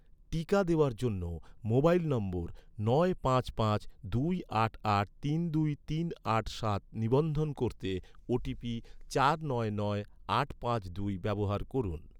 টিকা দেওয়ার জন্য, মোবাইল নম্বর নয় পাঁচ পাঁচ দুই আট আট তিন দুই তিন আট সাত নিবন্ধন করতে, ওটিপি চার নয় নয় আট পাঁচ দুই ব্যবহার করুন